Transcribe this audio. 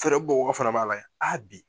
Fɛɛrɛ bɔ bagaw fana b'a layɛ bi